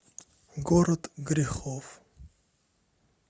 город грехов